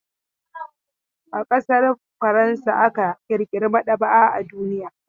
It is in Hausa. A ƙasar Faransa aka ƙirƙira maɗaba'a a duniya.